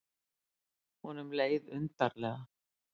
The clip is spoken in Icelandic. Honum leið undarlega.